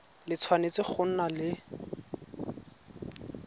le tshwanetse go nna le